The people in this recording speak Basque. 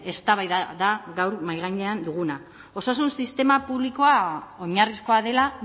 eztabaida da gaur mahai gainean duguna osasun sistema publikoa oinarrizkoa dela